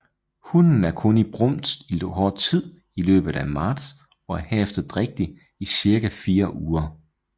Hunnen er kun i brunst i kort tid i løbet af marts og er herefter drægtig i cirka 4 uger